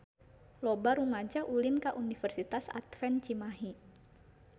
Loba rumaja ulin ka Universitas Advent Cimahi